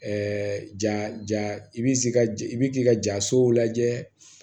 ja i bi jija ja i bi k'i ka jasow lajɛ